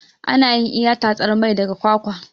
Anayin iya tatsar mai daga kwakwa